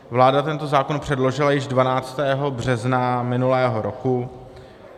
Vláda tento zákon předložila již 12. března minulého roku.